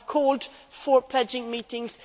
We have called for pledging meetings.